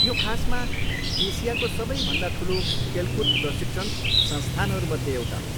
यो खासमा एसियाको सबैभन्दा ठुलो खेलकुद प्रशिक्षण संस्थानहरूमध्ये एउटा हो।